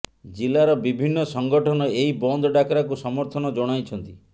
ଜିଲ୍ଲାର ବିଭିନ୍ନ ସଂଗଠନ ଏହି ବନ୍ଦ ଡ଼ାକରାକୁ ସମର୍ଥନ ଜଣାଇଛନ୍ତି